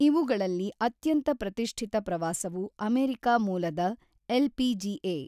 ಇವುಗಳಲ್ಲಿ ಅತ್ಯಂತ ಪ್ರತಿಷ್ಠಿತ ಪ್ರವಾಸವು ಅಮೆರಿಕ ಮೂಲದ ಎಲ್‌ಪಿಜಿಎ .